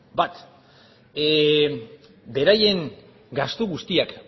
bat beraien gastu guztiak